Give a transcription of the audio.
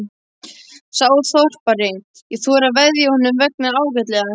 Sá þorpari: ég þori að veðja að honum vegnar ágætlega.